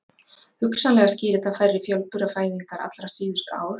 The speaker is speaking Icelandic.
Hugsanlega skýrir það færri fjölburafæðingar allra síðustu ár.